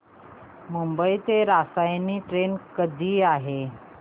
मुंबई ते रसायनी ट्रेन कधी आहे